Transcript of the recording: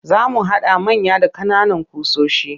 Za mu haɗa manya da ƙananan ƙusoshi